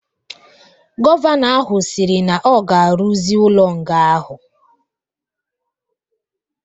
Gọvanọ ahu sịrị na ọ ga-aruzi ulo nga ahụ